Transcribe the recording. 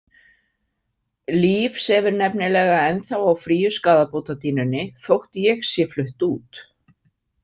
Líf sefur nefnilega ennþá á fríu skaðabótadýnunni þótt ég sé flutt út.